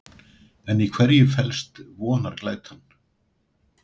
En í hverju felst vonarglætan?